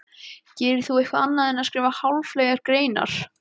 Gerir þú eitthvað annað en skrifa háfleygar greinar?